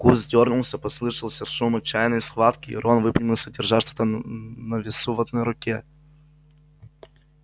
куст дёрнулся послышался шум отчаянной схватки и рон выпрямился держа что-то на весу в одной руке